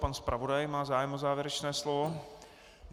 Pan zpravodaj má zájem o závěrečné slovo.